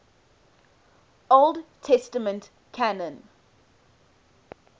old testament canon